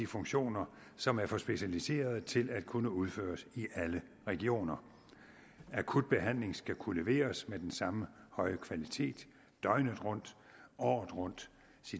funktioner som er for specialiserede til at kunne udføres i alle regioner akut behandling skal kunne leveres med den samme høje kvalitet døgnet rundt året rundt